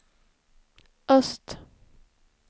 öst